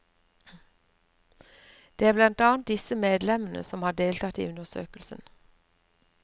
Det er blant annet disse medlemmene som har deltatt i undersøkelsen.